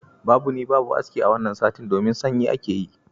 Babu ni babu aski a wanna satin, domin sanyi ake yi.